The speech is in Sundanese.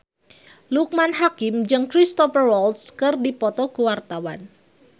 Loekman Hakim jeung Cristhoper Waltz keur dipoto ku wartawan